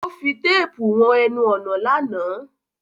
O fi téèpù won enun ònà lánàá